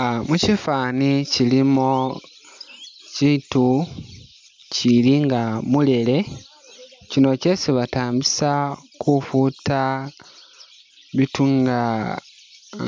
Ah mushifani kyilimo kyitu kyili nga mulele kyino kyesi batambisa kufuta bitu nga